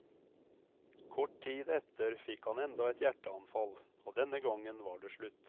Kort tid etter fikk han enda et hjerteanfall, og denne gangen var det slutt.